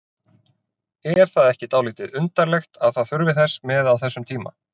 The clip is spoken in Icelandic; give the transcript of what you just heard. Er það ekki dálítið undarlegt að það þurfi þess með á þessum tíma?